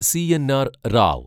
C N R Rao